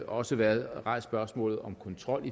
også været rejst spørgsmål om kontrol